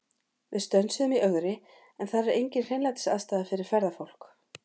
Við stönsuðum í Ögri, en þar er engin hreinlætisaðstaða fyrir ferðafólk.